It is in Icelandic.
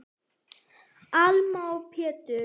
Alma og Pétur.